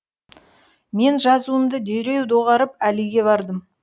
мен жазуымды дереу доғарып әлиге бардым